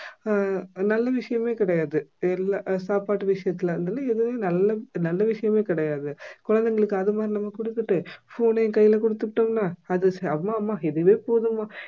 அஹ் நல்ல விஷயமே கிடையாது தெரியல அஹ் சாப்பாட்டு விஷயத்துல அதனால எதுவுமே நல்ல நல்ல விஷயமே கிடையாது குழந்தைகளுக்கு அது மாதிரி நம்ம குடுத்துட்டு phone யும் கையில குடுத்துட்டீங்கன்னா அது அம்மா அம்மா இதுவே போதும்மா